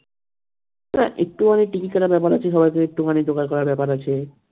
আহ একটুখানি টিকিট কাটার ব্যাপার আছে সবাইকে একটুখানি জোগাড় করার ব্যাপার আছে